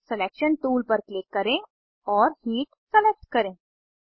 selection tool पर click करें और हीट सलेक्ट करें